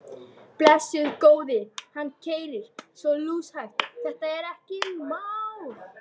Blessaður góði. hann keyrir svo lúshægt, þetta er ekkert mál.